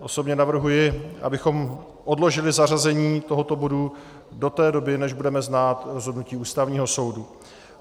Osobně navrhuji, abychom odložili zařazení tohoto bodu do té doby, než budeme znát rozhodnutí Ústavního soudu.